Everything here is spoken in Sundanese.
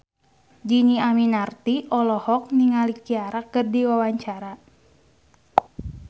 Dhini Aminarti olohok ningali Ciara keur diwawancara